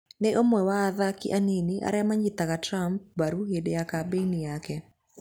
Nĩ ũmwe wa athaki anini arĩa maanyitaga Trump mbaru hĩndĩ ya kambĩini yake.